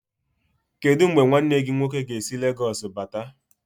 Kedụ mgbe nwanne gị nwoke ga-esi Legoosu bata?